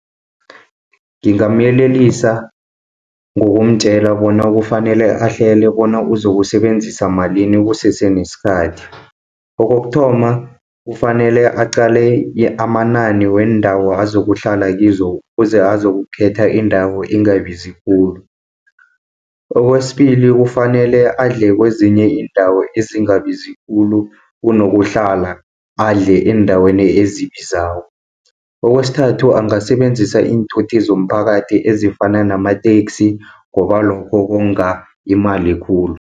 Ngingamyelelisa ngokumtjela bona kufanele ahlele, bona uzokusebenzisa malini kusese nesikhathi. Kokokuthoma kufanele aqale amanani weendawo azokuhlala kizo, kuze azokukhetha indawo engabizi khulu. Kwesibili kufanele adle kezinye iindawo ezingabizi khulu, kunokuhlala adle eendaweni ezibizako. Kwesithathu angasebenzisa iinthuthi zomphakathi, ezifana namateksi ngoba lokho konga imali khulu.